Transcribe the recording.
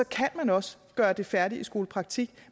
kan man også gøre det færdigt i skolepraktik